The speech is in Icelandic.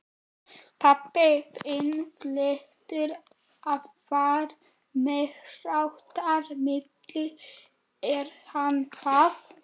Pabbi þinn hlýtur að vera meiriháttar milli, er hann það?